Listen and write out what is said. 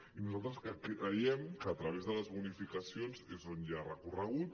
i nosaltres creiem que a través de les bonificacions és on hi ha recorregut